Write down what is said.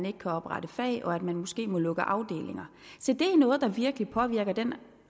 ikke kan oprette fag og måske må lukke afdelinger se det er noget der virkelig påvirker den